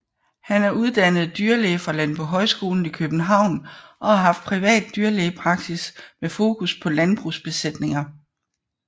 Han er uddannet dyrlæge fra Landbohøjskolen i København og har haft privat dyrlægepraksis med fokus på landbrugsbesætninger